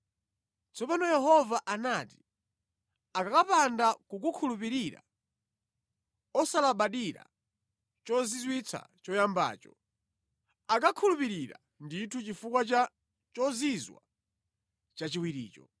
Tsono Yehova anati “Akakapanda kukukhulupirira, osalabadira chozizwitsa choyambacho, akakhulupirira ndithu chifukwa cha chozizwitsa chachiwiricho.